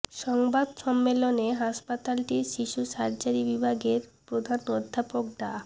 সংবাদ সম্মেলনে হাসপাতালটির শিশু সার্জারি বিভাগের প্রধান অধ্যাপক ডা